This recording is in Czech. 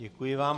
Děkuji vám.